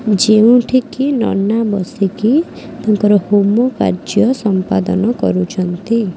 ଯେଉଁଠି କି ନନା ବସିକି ତାଙ୍କର ହୋମ କାର୍ଯ୍ୟ ସମ୍ପାଦନ କରୁଛନ୍ତି।